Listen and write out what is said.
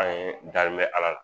An ye danin bɛ Ala la